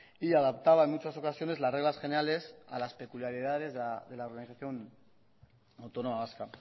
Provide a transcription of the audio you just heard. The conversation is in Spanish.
y adaptaba en muchas ocasiones las reglas generales a las peculiaridades de la organización autónoma vasca